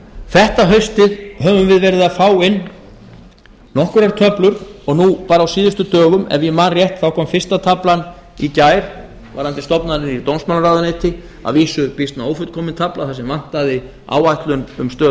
þetta haustið höfum við verið að fá inn nokkrar töflur og nú bara á síðustu dögum ef ég man rétt þá kom fyrsta taflan í gær varðandi stofnanir í dómsmálaráðuneyti að vísu býsna ófullkomin tafla þar sem vantaði áætlun um stöðu